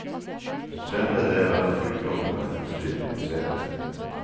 Den fremre del av flykroppen er utstilt i museet.